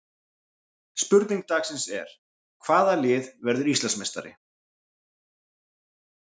Spurning dagsins er: Hvaða lið verður Íslandsmeistari?